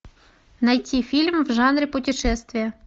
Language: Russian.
найти фильм в жанре путешествия